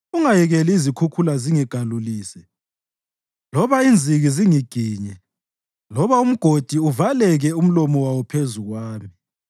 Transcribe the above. Ungayekeli izikhukhula zingigalulise loba inziki zingiginye, loba umgodi uvaleke umlomo wawo phezu kwami.